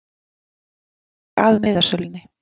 Hann gekk að miðasölunni.